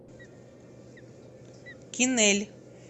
кинель